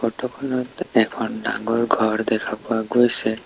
Photo খনত এখন ডাঙৰ ঘৰ দেখা পোৱা গৈছে।